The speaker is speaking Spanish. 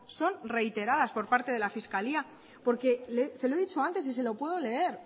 son reiteradas por parte de la fiscalía se lo he dicho antes y se lo puedo leer